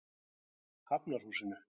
Hafnarhúsinu